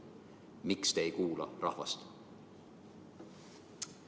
Miks te ei kuula rahvast?